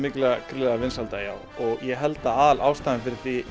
gríðarlega vinsælda og ég held að aðalástæðan fyrir